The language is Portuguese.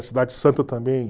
A Cidade Santa também.